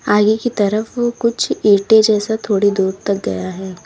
आगे की तरफ कुछ ईंटे जैसा थोड़ी दूर तक गया है।